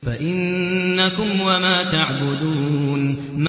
فَإِنَّكُمْ وَمَا تَعْبُدُونَ